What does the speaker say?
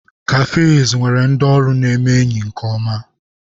Cafes nwere ndị ọrụ neme enyi nke-oma.